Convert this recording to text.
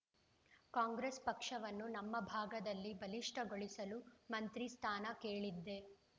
ಕಾಂಗ್ರೆಸ್‌ ಪಕ್ಷವನ್ನು ನಮ್ಮ ಭಾಗದಲ್ಲಿ ಬಲಿಷ್ಠಗೊಳಿಸಲು ಮಂತ್ರಿ ಸ್ಥಾನ ಕೇಳಿದ್ದೆ